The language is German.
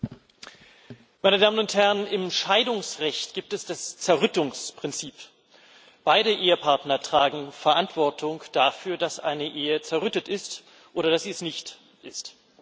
Frau Präsidentin, meine Damen und Herren! Im Scheidungsrecht gibt es das Zerrüttungsprinzip Beide Ehepartner tragen Verantwortung dafür, dass eine Ehe zerrüttet ist oder dass sie es nicht ist.